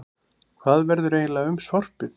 Hvað verður eiginlega um sorpið?